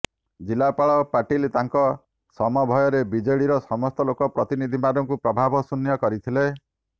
ଜିଲ୍ଲାପାଳ ପାଟିଲ ତାଙ୍କ ସମଭୟରେ ବିଜେଡିର ସମସ୍ତ ଲୋକ ପ୍ରତିନିଧିମାନଙ୍କୁ ପ୍ରଭାବଶୂନ୍ୟ କରିଥିଲେ